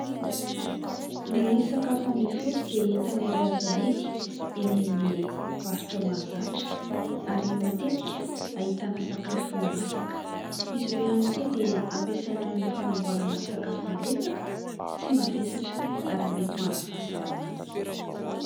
Ny sakafo ambihotsy dia entana iray azo amidy eny amin'ny varotra mahazatra ary matetika ahitana sakafo masaka. Izy ireo ihany koa dia ampiasaina amin'ny fanamboarana sakafo malefaka tsy mavesatra ary mety ho an'ny fahasalamana.